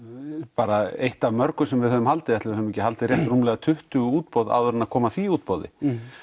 bara eitt af mörgu sem við höfum haldið ætli við höfum ekki haldið rúmlega tuttugu útboð áður en kom að því útboði